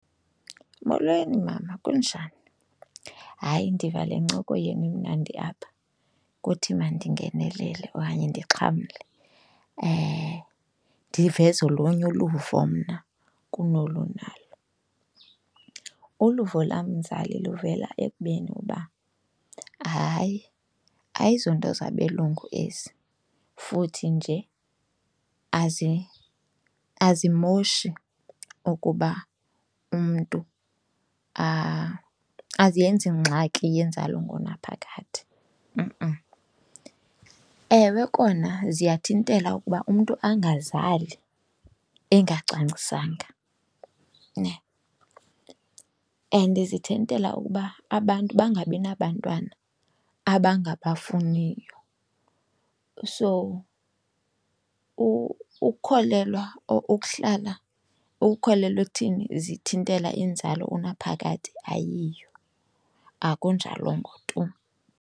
Molweni mama, kunjani? Hayi, ndiva le ncoko yenu imnandi apha kuthi mandingenelele okanye ndixhamle, ndiveze olunye uluvo mna kunolu unalo. Uluvo lam mzali luvela ekubeni uba hayi ayizonto zabelungu ezi futhi nje azimoshi ukuba umntu , aziyenzi ngxaki yenzalo ngonaphakade . Ewe, kona ziyathintela ukuba umntu angazali engacwangcisanga nhe and zithintela ukuba abantu bangabi nabantwana abangabafuniyo. So ukukholelwa or ukuhlala ukukholelwa ekuthini zithintela inzalo unaphakade ayiyo, akunjalongo tu.